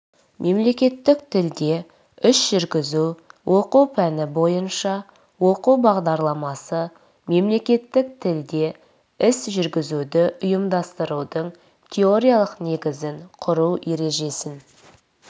мемлекеттік тілде іс жүргізу оқу пәні бойынша оқу бағдарламасы мемлекеттік тілде іс жүргізуді ұйымдастырудың теориялық негізін құру ережесін